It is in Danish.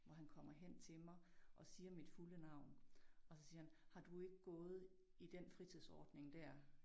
Hvor han kommer hen til mig og siger mit fulde navn og så siger han har du ikke gået i den fritidsordning dér?